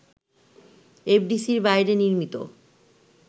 এফডিসির বাইরে নির্মিত